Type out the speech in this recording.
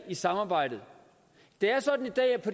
i samarbejdet det er sådan